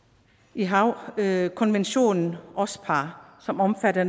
i havkonventionen ospar som omfatter